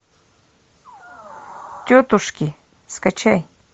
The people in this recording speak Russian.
тетушки скачай